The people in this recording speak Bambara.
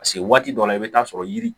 waati dɔ la i bɛ taa sɔrɔ yiri